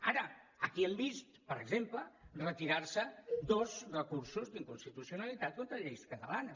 ara aquí hem vist per exemple retirar se dos recursos d’inconstitucionalitat contra lleis catalanes